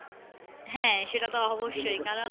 হ্যাঁ সেটাতো অবশ্যই কারণ